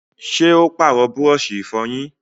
ṣé ó pàrọ̀ búrọ̀sì ìfọyín?